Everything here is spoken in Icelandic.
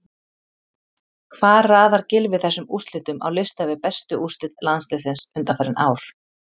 Hvar raðar Gylfi þessum úrslitum á lista yfir bestu úrslit landsliðsins undanfarin ár?